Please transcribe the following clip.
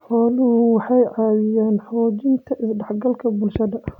Xooluhu waxay caawiyaan xoojinta is-dhexgalka bulshada.